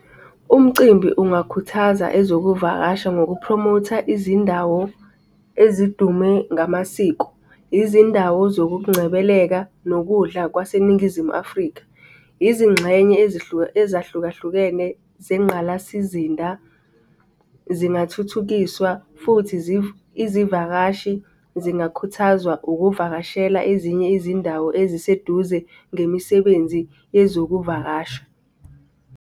Umcimbi ungakhuthaza ezokuvakasha ngokuphromotha izindawo ezidume ngamasiko, izindawo zokungcebeleka nokudla kwaseNingizimu Afrika. Izingxenye ezahlukahlukene zengqalasizinda zingathuthukiswa futhi izivakashi zingakhuthazwa ukuvakashela ezinye izindawo eziseduze ngemisebenzi yezokuvakasha.